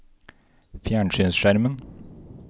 fjernsynsskjermen